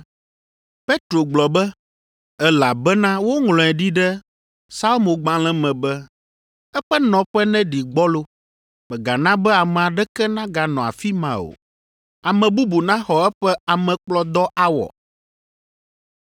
Petro gblɔ be, “Elabena woŋlɔe ɖi ɖe Psalmogbalẽ me be, “ ‘Eƒe nɔƒe neɖi gbɔlo, mègana be ame aɖeke neganɔ afi ma o,’ eye, “ ‘Ame bubu naxɔ eƒe amekplɔdɔ awɔ.’ ”